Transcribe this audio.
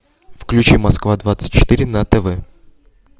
включи москва двадцать четыре на тв